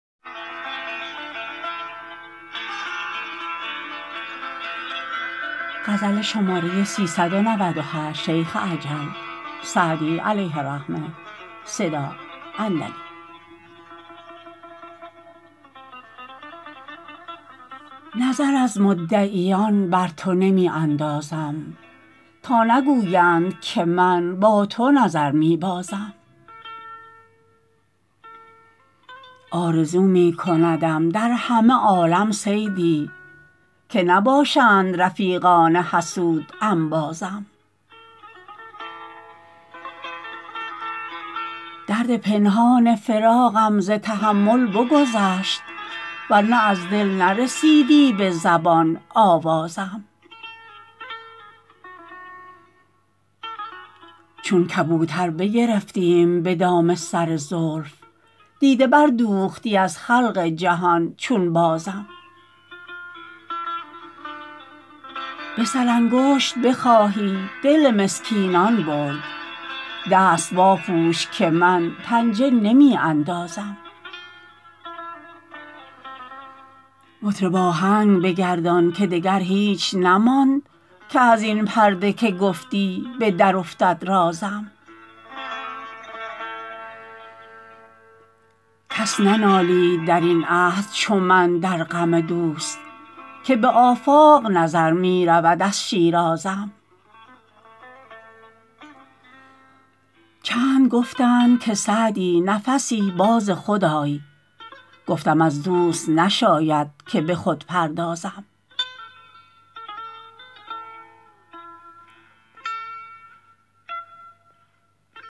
نظر از مدعیان بر تو نمی اندازم تا نگویند که من با تو نظر می بازم آرزو می کندم در همه عالم صیدی که نباشند رفیقان حسود انبازم درد پنهان فراقم ز تحمل بگذشت ور نه از دل نرسیدی به زبان آوازم چون کبوتر بگرفتیم به دام سر زلف دیده بردوختی از خلق جهان چون بازم به سرانگشت بخواهی دل مسکینان برد دست واپوش که من پنجه نمی اندازم مطرب آهنگ بگردان که دگر هیچ نماند که از این پرده که گفتی به درافتد رازم کس ننالید در این عهد چو من در غم دوست که به آفاق نظر می رود از شیرازم چند گفتند که سعدی نفسی باز خود آی گفتم از دوست نشاید که به خود پردازم